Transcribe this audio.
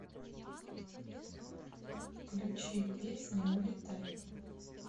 включи песня улетай